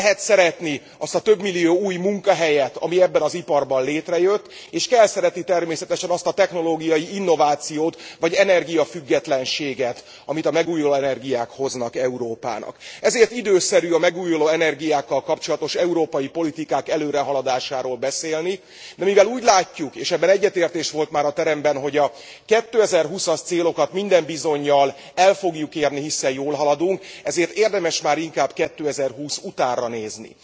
Lehet szeretni azt a több millió új munkahelyet, ami ebben az iparban létrejött, és kell szeretni természetesen azt a technológiai innovációt, vagy energiafüggetlenséget, amit a megújuló energiák hoznak Európának. Ezért időszerű a megújuló energiákkal kapcsolatos európai politikák előrehaladásáról beszélni. De mivel úgy látjuk, és ebben egyetértés volt már a teremben, hogy a 2020 as célokat minden bizonnyal el fogjuk érni, hiszen jól haladunk, ezért érdemes már inkább 2020 utánra nézni.